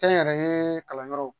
Kɛnyɛrɛye kalanyɔrɔw